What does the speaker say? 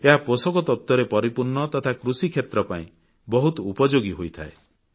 ଏହା ପୋଷକ ତତ୍ତ୍ବରେ ପରିପୂର୍ଣ୍ଣ ତଥା କୃଷିକ୍ଷେତ୍ର ପାଇଁ ବହୁତ ଉପଯୋଗୀ ହୋଇଥାଏ